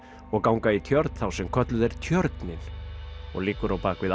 og gánga í tjörn þá sem kölluð er Tjörnin og liggur á bak við